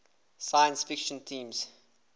science fiction themes